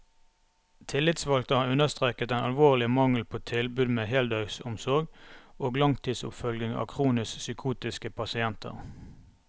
Tillitsvalgte har understreket den alvorlige mangel på tilbud med heldøgnsomsorg og langtidsoppfølging av kronisk psykotiske pasienter.